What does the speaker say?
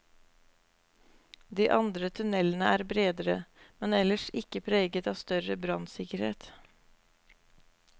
De andre tunnelene er bredere, men ellers ikke preget av større brannsikkerhet.